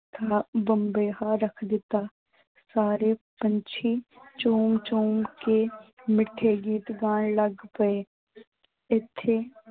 ਬਬੀਹਾ ਰੱਖ ਦਿੱਤਾ, ਸਾਰੇ ਪੰਛੀ ਝੂਮ ਝੂਮ ਕੇ ਮਿੱਠੇ ਗੀਤ ਗਾਉਣ ਲੱਗ ਪਏ ਇੱਥੇ